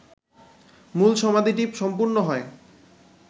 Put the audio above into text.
মূল সমাধিটি সম্পূর্ণ হয়